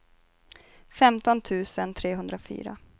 femton tusen trehundrafyra